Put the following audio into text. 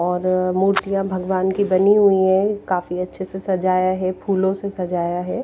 और मूर्तियां भगवान की बनी हुई हैं कफी अच्छे से सजाया है फूलों से सजाया है।